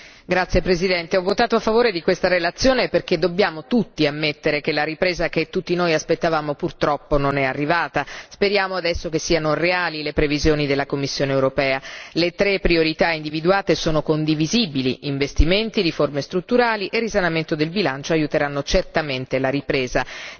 Signora Presidente, onorevoli colleghi, ho votato a favore di questa relazione perché dobbiamo tutti ammettere che la ripresa che tutti noi aspettavamo, purtroppo, non è arrivata. Speriamo adesso che siano reali le previsioni della Commissione europea. Le tre priorità individuate sono condivisibili investimenti, riforme strutturali e risanamento del bilancio aiuteranno certamente la ripresa.